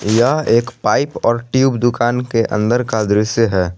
यह एक पाइप और ट्यूब दुकान के अंदर का दृश्य है।